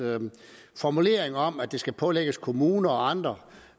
formulering om at det skal pålægges kommuner og andre